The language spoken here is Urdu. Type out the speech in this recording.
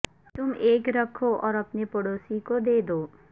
تم ایک رکھو اور اپنے پڑوسی کو دے دو